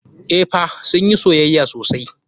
Eh fa, sun yi soyayya sosai.